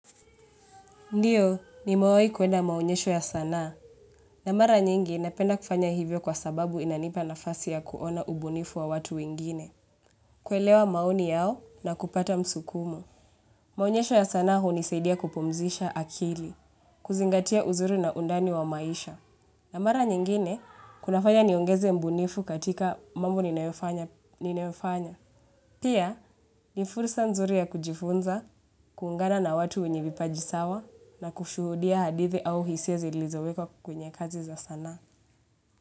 Ndio, nimewahi kwenda maonyesho ya sanaa. Na mara nyingi, napenda kufanya hivyo kwa sababu inanipa nafasi ya kuona ubunifu wa watu wengine. Kuelewa maoni yao na kupata msukumo. Maonyesho ya sanaa hunisaidia kupumzisha akili. Kuzingatia uzuri na undani wa maisha. Na mara nyingine, kunafanya niongeze ubunifu katika mambo ninayofanya. Pia, ni furusa nzuri ya kujifunza, kuungana na watu wenye vipaji sawa. Kusuhudia hadithi au hisia zilizowekwa kwenye kazi za sanaa.